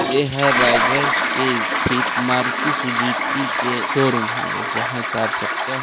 ये हर रायगढ़ के स्थित मारुति सुज़ूकी के शोरूम हावे जहां चार चक्का--